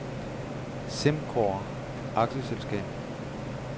SimCorp A/S